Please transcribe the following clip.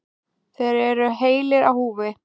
Þeir eru heilir á húfi.